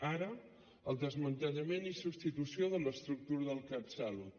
ara el desmantellament i substitució de l’estructura del catsalut